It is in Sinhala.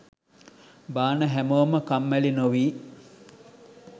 බාන හැමෝම කම්මැලි නොවී